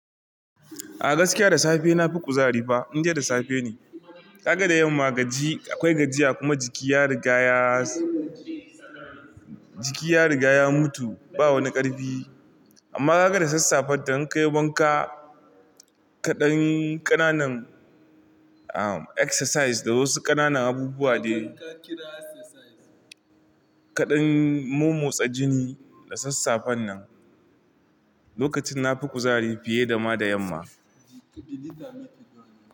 A gaskiya da safe na fi kuzari fa, indi da safe ne. Ka ga da yamma gaji, akwai gajiya kuma jiki ya rigaya, jiki ya riga ya mutu, ba wani ƙarfi. Amma ka ga da sassafe in ka yi wanka, kaɗanyi ƙananan, am, exercise da wasu ƙananan abubuwa dai. Kaɗan momotsa jini da sassafe nan, lokacin na fi kuzari fiye da ma da yamma.